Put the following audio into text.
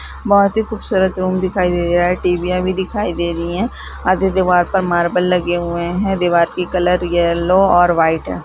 बहोत ही खूबसूरत रूम दिखाई दे रहा है टीविया भी दिखाई दे रही है आधे दीवार पर मार्बल लगे हैं दीवार की कलर येलो और वाइट है।